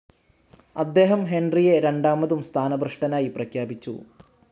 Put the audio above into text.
അദ്ദേഹം ഹെൻറിയെ രണ്ടാമതും സ്ഥാനഭ്രഷ്ടനായി പ്രഖ്യാപിച്ചു